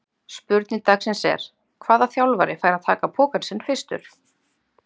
Spurning dagsins er: Hvaða þjálfari fær að taka pokann sinn fyrstur?